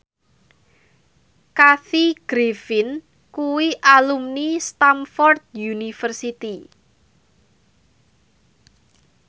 Kathy Griffin kuwi alumni Stamford University